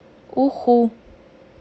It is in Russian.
уху